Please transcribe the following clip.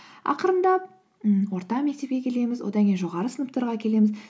ақырындап ммм орта мектепке келеміз одан кейін жоғары сыныптарға келеміз